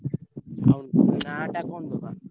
ହଉ ନାଁ ଟା କଣ ଦବା?